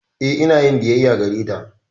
Eh, ina yin biyayya gareta.